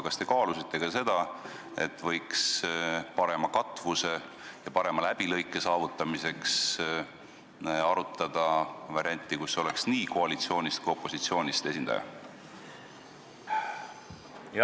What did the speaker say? Kas te kaalusite ka seda, et võiks parema katvuse ja parema läbilõike nimel valida variandi, et oleks nii koalitsioonist kui opositsioonist esindaja?